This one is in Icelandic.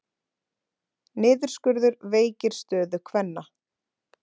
Niðurskurður veikir stöðu kvenna